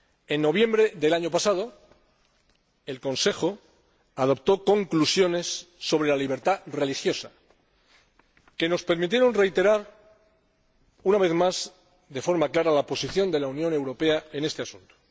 En noviembre del año pasado, el Consejo adoptó conclusiones sobre la libertad religiosa que nos permitieron reiterar una vez más, de forma clara, la posición de la Unión Europea en este asunto.